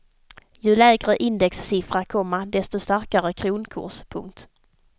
Ju lägre indexsiffra, komma desto starkare kronkurs. punkt